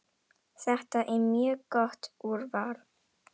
Þetta er mjög gott úrval.